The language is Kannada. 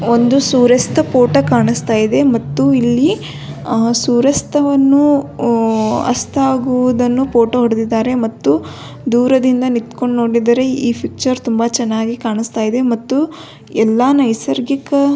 ಒಂದು ಸೂರ್ಯಾಸ್ತ ದು ಫೋಟೋ ಕಾಣಿಸ್ತಾ ಇದೆ ಮತ್ತು ಇಲ್ಲಿ ಆ ಸೂರ್ಯಾಸ್ತವನ್ನು ಆ ಅಸ್ತವಾಗುವುದನ್ನು ಫೋಟೋ ಹೊಡೆದಿದ್ದಾರೆ ಮತ್ತು ದೂರದಿಂದ ನಿಂತ್ಕೊಂಡು ನೋಡಿದರೆ ಈ ಪಿಕ್ಚರ್ ತುಂಬಾ ಚೆನ್ನಾಗಿ ಕಾಣಿಸ್ತಾ ಇದೆ ಮತ್ತು ಎಲ್ಲಾ ನೈಸರ್ಗಿಕ --